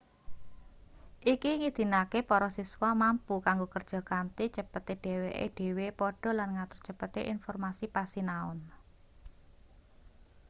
iki ngidinake para siswa mampu kanggo kerja kanthi cepete dheweke dhewe padha lan ngatur cepete informasi pasinaon